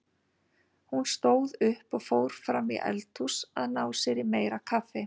Hún stóð upp og fór fram í eldhús að ná sér í meira kaffi.